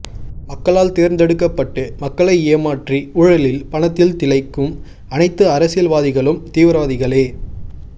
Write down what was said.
மக்களால் தேர்ந்தெடுக்கப்பட்டு மக்களை ஏமாற்றி ஊழலில் பணத்தில் திளைக்கும் அணைத்து அரசியல்வாதிகளும் தீவிரவாதிகளே